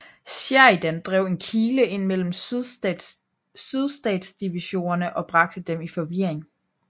Sheridan drev en kile ind mellem sydstatsdivisionerne og bragte dem i forvirring